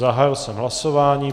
Zahájil jsem hlasování.